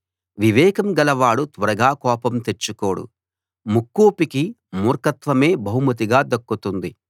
వివేకం గలవాడు త్వరగా కోపం తెచ్చుకోడు ముక్కోపికి మూర్ఖత్వమే బహుమతిగా దక్కుతుంది